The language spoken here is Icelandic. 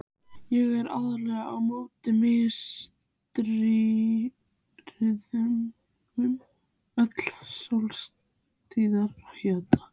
Ég er algerlega á móti miðstýringu, öllum sósíalisma.